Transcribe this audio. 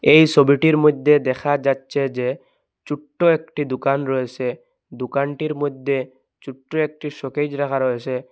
এই ছবিটির মইদ্যে দেখা যাচ্চে যে ছুট্ট একটি দোকান রয়েসে দোকানটির মইদ্যে ছুট্ট একটি শোকেজ রাখা রয়েসে।